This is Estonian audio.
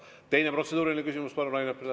Teine protseduuriline küsimus, palun, Rain Epler!